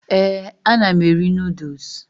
Ee, ana m eri noodles.